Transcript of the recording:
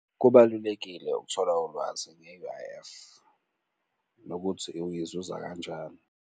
Kubalulekile ukuthola ulwazi nge-U_I_F nokuthi uyizuza kanjani.